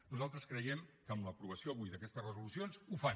nosaltres creiem que amb l’aprovació avui d’aquestes resolucions ho fan